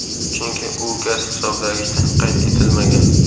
Chunki u gaz hisoblagichda qayd etilmagan.